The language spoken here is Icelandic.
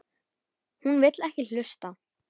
Hún vill ekki hlusta.